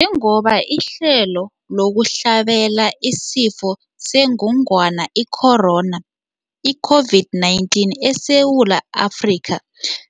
Njengoba ihlelo lokuhlabela isiFo sengogwana i-Corona, i-COVID-19, eSewula Afrika